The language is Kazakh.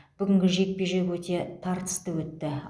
бүгінгі жекпе жек өте тартысты өтті